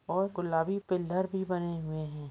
और गुलाबी पिलर भी बने हुए है।